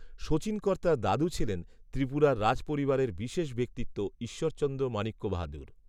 শচীনকর্তার দাদু ছিলেন ত্রিপুরার রাজ পরিবারের বিশেষ ব্যক্তিত্ব ঈশ্বরচন্দ্র মাণিক্য বাহাদুর